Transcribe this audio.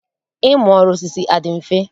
Ịmụ ọrụ osisi adị mfe?